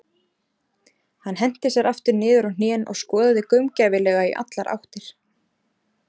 Hann henti sér aftur niður á hnén og skoðaði gaumgæfilega í allar áttir.